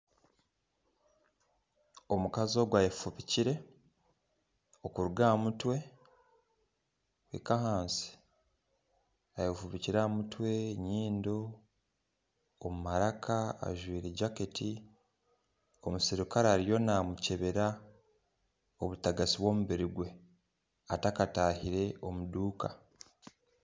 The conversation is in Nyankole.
Omukazi ogu ayefubukire okuruga aha mutwe okuhika ahansi ayefubukire aha mutwe enyindo omu maraka ajwaire jaketi omuserukale ariyo naamukyebera obutagasi bw'omubiri gwe atakatahire omuduuka